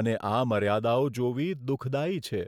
અને આ મર્યાદાઓ જોવી દુઃખદાયી છે.